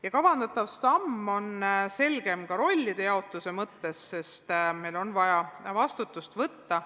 Ja kavandatav samm on selgem ka rollide jaotuse mõttes, sest meil on vaja vastutada.